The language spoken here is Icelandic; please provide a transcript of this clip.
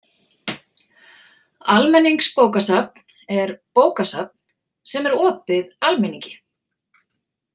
Almenningsbókasafn er bókasafn sem er opið almenningi.